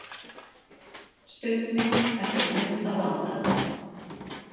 Stuttmynd eftir Munda vonda